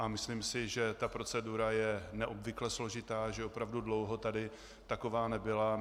A myslím si, že ta procedura je neobvykle složitá, že opravdu dlouho tady taková nebyla.